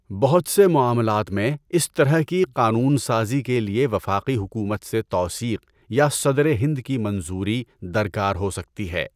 بہت سے معاملات میں، اس طرح کی قانون سازی کے لیے وفاقی حکومت سے توثیق یا صدرِ ہند کی منظوری درکار ہو سکتی ہے۔